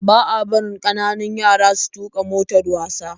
Ba a barin kananun yara su tuka motar wasa